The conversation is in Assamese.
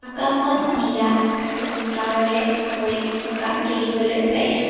আকাশখন নীলা আৰু ডাৱৰেৰে আৱৰি থকা দেখিবলৈ পাইছোঁ।